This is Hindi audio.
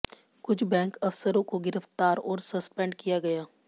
कुछ बैंक अफसरों को गिरफ्तार और सस्पेंड किया गया